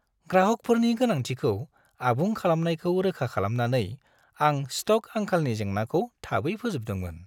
ग्राहकफोरनि गोनांथिखौ आबुं खालामनायखौ रोखा खालामनानै, आं स्टक आंखालनि जेंनाखौ थाबै फोजोबदोंमोन।